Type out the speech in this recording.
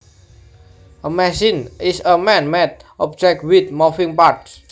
A machine is a man made object with moving parts